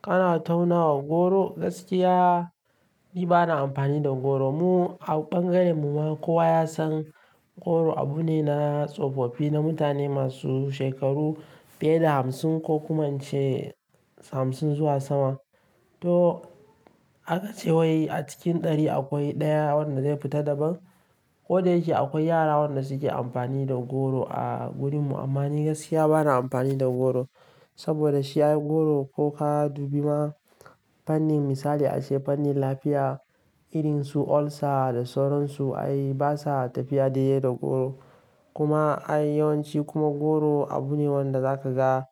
Kana tauna wa goro, gaskiya ni bana amfani da goro. Mu a bangaren mu ma kowa ya san goro abu ne na tsofaffi, na mutane masu shekaru fiye da hamsin ko kuma ince hamsin zuwa sama. To, haka ce wai a cikin ɗari akwai ɗaya wanda zai fita daban. Ko da yake akwai yara waɗanda suke amfani da goro a wurin mu, amma ni gaskiya bana amfani da goro. Saboda shi ai goro ko ka dubi ma fannin misali a ce fannin lafiya, irin su ulcer da sauran su ai basa tafiya daya da goro. Kuma ai yawanci kuma goro abu ne wanda zaka ga